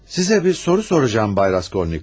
Sizə bir soru soracağım Bay Raskolnikov.